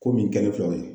Ko min kɛlen filɛ o ye